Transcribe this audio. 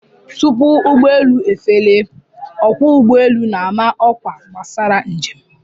Tupu ụgbọelu efelie, ọkwọ ụgbọelu na-ama ọkwa gbasara njem